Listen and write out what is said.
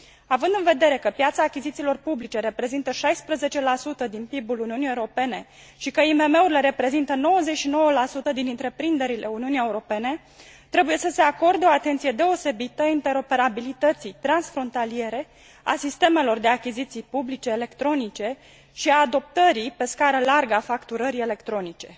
Având în vedere că piața achizițiilor publice reprezintă 16 din PIB ul Uniunii Europene și că IMM urile reprezintă 99 din întreprinderile Uniunii Europene, trebuie să se acorde o atenție deosebită interoperabilității transfrontaliere a sistemelor de achiziții publice electronice și a adoptării pe scară largă a facturării electronice.